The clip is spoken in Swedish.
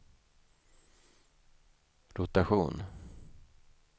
rotation